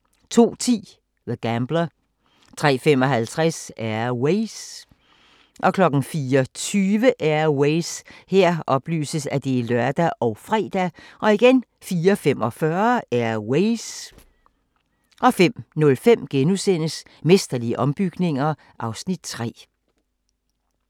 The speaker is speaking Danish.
02:10: The Gambler 03:55: Air Ways 04:20: Air Ways (lør og fre) 04:45: Air Ways 05:05: Mesterlige ombygninger (Afs. 3)*